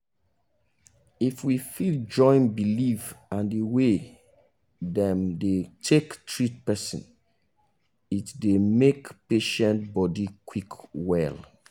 if we fit join belief and the way them dey take treat person it dey make patient body quick well.